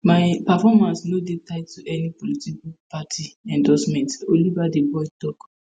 my performance no dey tied to any political party endorsement olivetheboy tok